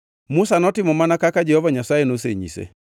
Musa notimo mana kaka Jehova Nyasaye nonyise.